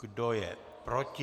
Kdo je proti?